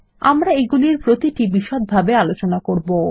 আমরা এগুলির প্রতিটি বিষদভাবে আলোচনা করব